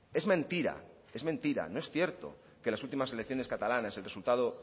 es mentira es mentira no es cierto que las últimas elecciones catalanes el resultado